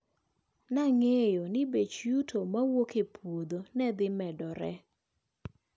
Nang`eyo ni bech yuto mowuok e puodho nedhi medore.